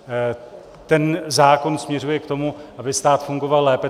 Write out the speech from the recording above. Ten zákon směřuje k tomu, aby stát fungoval lépe.